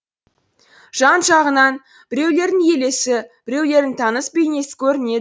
жан жағынан біреулердің елесі біреулердің таныс бейнесі көрінеді